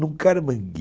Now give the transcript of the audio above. Num caramangue.